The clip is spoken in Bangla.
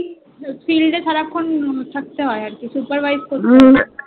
Field এ সারাক্ষণ থাকতে হয় মানে Supervise করতে হয়,